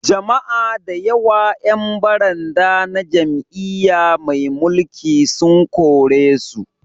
Jama'a da yawa 'yan baranda na jam'iyya mai mulki sun korisu